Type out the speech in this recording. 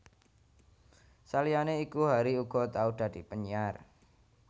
Saliyané iku Harry uga tau dadi penyiar